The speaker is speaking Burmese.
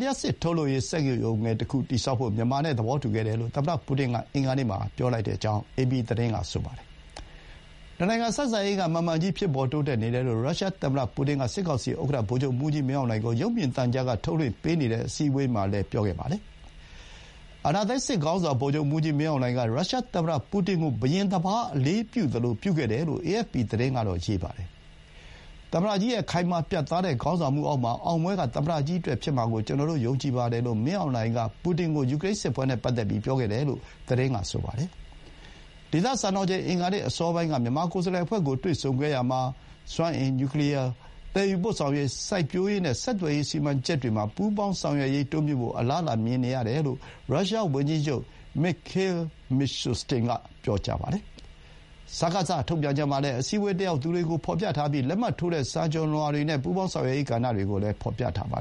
လျှပ်စစ်ထုတ်လုပ်ရေး စက်ရုံငယ်တခု တည်ဆောက်ဖို့ မြန်မာနဲ့ သဘောတူခဲ့တယ်လို့ သမ္မတပူတင်က အင်္ဂါနေ့မှာ ပြောကြောင်း အေပီသတင်းက ပြောပါတယ်။ နှစ်နိုင်ငံဆက်ဆံရေးက မှန်မှန်ကြီး ဖြစ်ပေါ်တိုးတက်နေတယ်လို့ ရုရှားသမ္မတ ပူတင်က စစ်ကောင်စီ ဥက္ကဋ္ဌ ဗိုလ်ချုပ်မှူးကြီးမင်းအောင်လှိုင်ကို ရုပ်မြင်သံကြားက ထုတ်လွှင့်ပေးနေတဲ့ အစည်းအဝေးမှာလည်း ပြောခဲ့ပါတယ်။ အာဏာသိမ်း စစ်ခေါင်းဆောင် ဗိုလ်ချုပ်မှူးကြီးမင်းအောင်လှိုင်က ရုရှားသမ္မတ ပူတင်ကို ဘုရင်တပါး အလေးပြုသလို ပြုခဲ့တယ်လို့ အေအက်ဖ်ပီသတင်းက ရေးပါတယ်။ "သမ္မတကြီးရဲ့ ခိုင်မာ ပြတ်သားတဲ့ ခေါင်းဆောင်မှုအောက်မှာ အောင်ပွဲက သမ္မတကြီးအတွက် ဖြစ်မှာကို ကျနော် ယုံကြည်ပါတယ်" လို့ မင်းအောင်လှိုင်က ပူတင်ကို ပြောခဲ့တယ်လို့ သတင်းက ဆိုပါတယ်။ ဒေသစံတော်ချိန် အင်္ဂါနေ့ အစောပိုင်းက မြန်မာကိုယ်စားလှယ်အဖွဲ့ကို တွေ့ဆုံခဲ့ရာမှာ စွမ်းအင်၊ နျူးကလီးယား၊ သယ်ယူပို့ဆောင်ရေး၊ စိုက်ပျိုးရေးနဲ့ ဆက်သွယ်ရေး စီမံချက်တွေမှာ ပူးပေါင်းဆောင်ရွက်ရေး တိုးမြှင့်ဖို့ အလားအလာမြင်ရတယ်လို့ ရုရှားဝန်ကြီးချုပ် Mikhail Mishustin က ပြောပါတယ်။ စကစ ထုတ်ပြန်ချက်မှာလည်း အစည်းအဝေး တက်ရောက်သူတွေကို ဖော်ပြထားပြီး လက်မှတ်ထိုးတဲ့ စာချွန်လွှာတွေနဲ့ ပူပေါင်းဆောင်ရွက်ရေး ကဏ္ဍတွေကို ဖော်ပြထားပါ